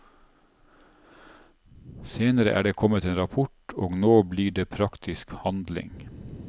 Senere er det kommet en rapport, og nå blir det praktisk handling.